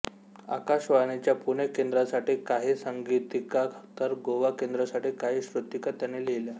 आकाशवाणीच्या पुणे केंद्रासाठी काही संगीतिका तर गोवा केंद्रासाठी काही श्रुतिका त्यांनी लिहिल्या